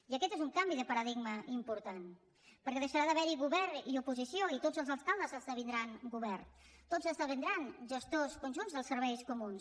i aquest és un canvi de paradigma important perquè deixarà d’haver hi govern i oposició i tots els alcaldes esdevindran govern tots esdevindran gestors conjunts dels serveis comuns